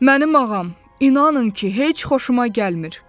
Mənim ağam, inanın ki, heç xoşuma gəlmir.